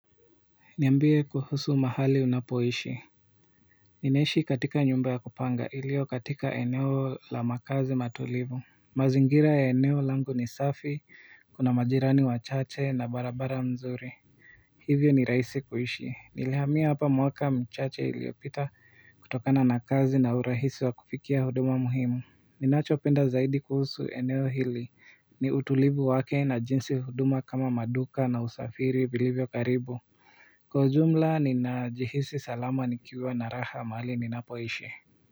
Niambie kuhusu mahali unapoishi ninaishi katika nyumba ya kupanga iliyo katika eneo la makazi matulivu, mazingira ya eneo langu ni safi, kuna majirani wachache na barabara nzuri. Hivyo ni rahisi kuishi nilihamia hapa mwaka mchache iliopita. Kutokana na kazi na urahisi wa kufikia huduma muhimu ninachopenda zaidi kuhusu eneo hili ni utulivu wake na jinsi huduma kama maduka na usafiri vilivyo karibu kwa ujumla ninajihisi salama nikiwa na raha mahali ninapoishi.